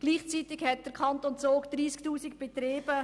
Gleichzeitig hat der Kanton Zug 30 000 Betriebe.